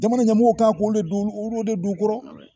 Jamana ɲɛmɔgɔw kan k'olu de don u kɔrɔ